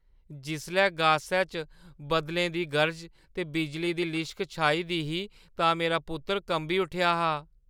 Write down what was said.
जिसलै गासै च बदलें दी गर्ज ते बिजली दी लिश्क छाई दी ही तां मेरा पुत्तर कंबी उट्ठेआ हा।